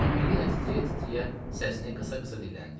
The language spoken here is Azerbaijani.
Emmelina titrəyə-titrəyə səsini qısa-qısa dilləndi.